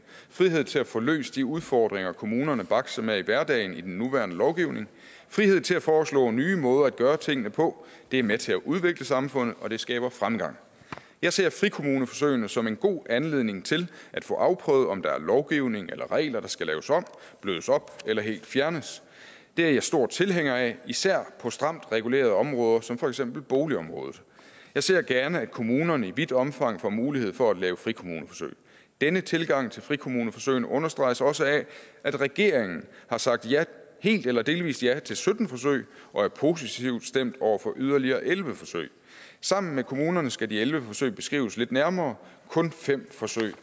frihed til at få løst de udfordringer kommunerne bakser med i hverdagen i den nuværende lovgivning frihed til at foreslå nye måder at gøre tingene på det er med til at udvikle samfundet og det skaber fremgang jeg ser frikommuneforsøgene som en god anledning til at få afprøvet om der er lovgivning eller regler der skal laves om blødes op eller helt fjernes det er jeg stor tilhænger af især på stramt regulerede områder som for eksempel boligområdet jeg ser gerne at kommunerne i vidt omfang får mulighed for at lave frikommuneforsøg denne tilgang til frikommuneforsøgene understreges også af at regeringen har sagt helt eller delvist ja til sytten forsøg og er positivt stemt over for yderligere elleve forsøg sammen med kommunerne skal de elleve forsøg beskrives lidt nærmere kun fem forsøg